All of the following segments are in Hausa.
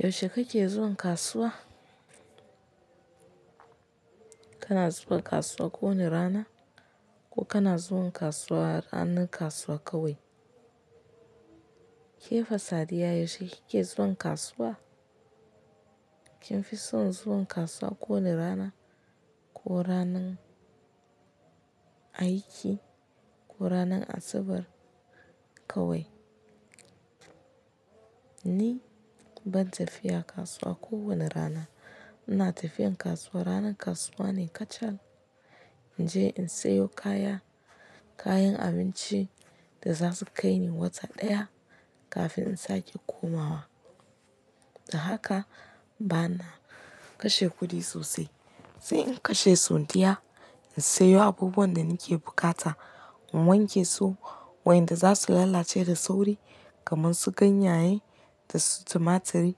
Yaushe kake zuwan kasuwa? Kana zuwa kasuwa kowane rana ko kana zuwan ranar kasuwa kawai? Ke fa sadiyya, yaushe kike zuwan kasuwa? Kin fi son zuwan kasuwa kowane rana ko ranan aiki ko ranan Asabar kawai? Ni ban tafiya kasuwa kowane rana. Ina tafiyan kasuwa ranan kasuwa ne kacal, naje in sayo kaya, kayan abinci da za su kai ni wata ɗaya kafin in sake komawa. Da haka bana kashe kuɗi sosai. Sai in kashe sondiya, in sayo abubuwan da nake bukata, in wanke su wayanda za su lalace da sauri kamar su ganyaye da su tumaturi,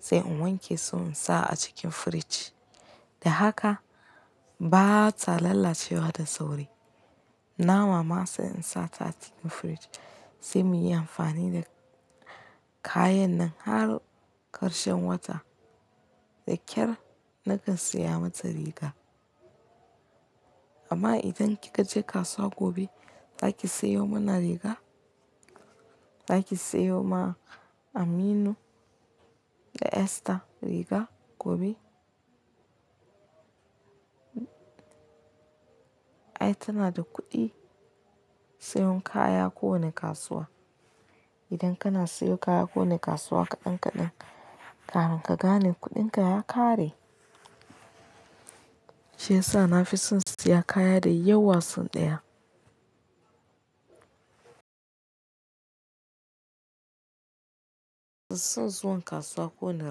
sai in wanke su in sa a cikin firij. Da haka ba ta lalacewa da sauri. Na ma mama sai in sa ta cikin firij sai mu yi amfani da kayan nan har ƙarshen wata. Da ƙyar nakan saya mata riga. Amma idan kika je kasuwa gobe, zaki sayo mana riga? Zaki sayo ma Aminu da Esther riga gobe? Ai tana da kuɗi sayan kaya ko wane kasuwa. Idan kana sayo kaya ko wane kasuwa kaɗan-kaɗan, kafin ka gane kuɗinka ya ƙare. Shiyasa na fi son siya kaya da yawa sau ɗaya. Son zuwan kasuwa ko wane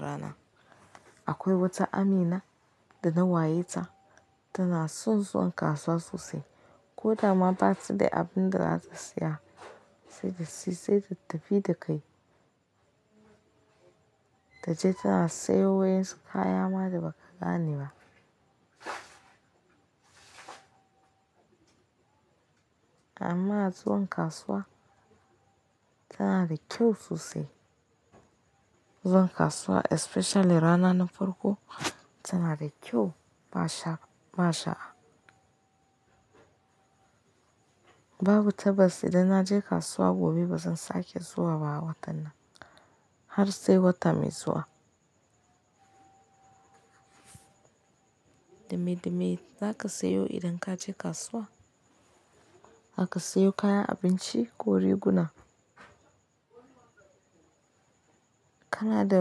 rana. Akwai wata Amina da na wayeta tana son zuwan kasuwa sosai. Ko da ma ba ta da abin da za ta siya sai da shi, sai ta tafi da kai. Ta je tana sayo wa ƴansunya kaya ma da ba ka gane ba. Amma zuwan kasuwa tana da kyau sosai. Zuwan kasuwa especially rana na farko tana da kyau mashaa Allah. Babu tabas, idan na je kasuwa gobe ba zan sake zuwa ba watan nan har sai wata mai zuwa. Dame dame zaka sayo idan kaje kasuwa? Zaka sayo kayan abinci ko riguna? Kana da.